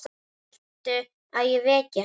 Viltu að ég veki hana?